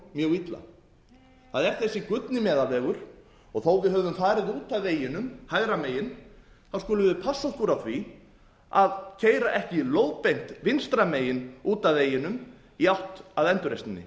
mjög illa það er þessi gullni meðalvegur og þó að við höfum farið út af veginum hægra megin skulum við passa okkur á því að keyra ekki lóðbeint vinstra megin út af veginum í átt að endurreisninni